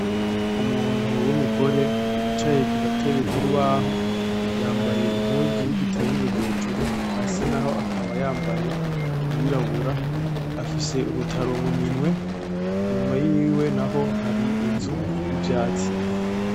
Umuntu wumugore yicaye kugatebe kutubaho yambaye impuzu yigitenge hejuru, hasi naho akaba yambaye iyirabura afise urutaro muminwe inyuma yiwe naho hari inzu yivyatsi